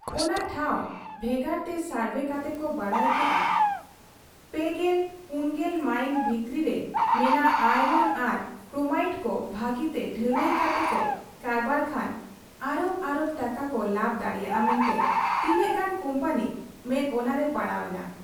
ᱚᱱᱟ ᱴᱷᱟᱶ ᱵᱷᱮᱜᱟᱨᱛᱮ ᱥᱚᱨᱵᱷᱮ ᱠᱟᱛᱮ ᱠᱚ ᱵᱟᱰᱟᱭ ᱠᱮᱜᱼᱟ ᱓᱐/᱔᱐ ᱢᱟᱭᱤᱞ ᱵᱷᱤᱛᱨᱤ ᱨᱮ ᱢᱮᱱᱟᱜ ᱟᱭᱨᱚᱱ ᱟᱨ ᱠᱨᱳᱢᱟᱭᱤᱴ ᱠᱚ ᱵᱷᱟᱹᱜᱤᱛᱮ ᱰᱷᱟᱞᱟᱭ ᱠᱟᱛᱮ ᱠᱚ ᱠᱟᱨᱵᱟᱨ ᱠᱷᱟᱱ ᱚᱨᱚᱵᱽ ᱚᱨᱚᱵᱽ ᱴᱟᱠᱟ ᱠᱚ ᱞᱟᱵᱽ ᱫᱟᱲᱮᱭᱟᱜ ᱟ ᱢᱮᱱᱛᱮ ᱛᱤᱱᱟᱹᱜ ᱜᱟᱱ ᱠᱩᱢᱯᱟᱹᱱᱤ ᱢᱮᱫ ᱚᱱᱟ ᱨᱮ ᱯᱟᱲᱟᱣ ᱮᱱᱟ ᱾